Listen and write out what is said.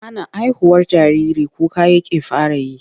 Ana haihuwar jariri kuka yake fara yi.